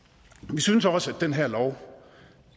vi synes også at den her lov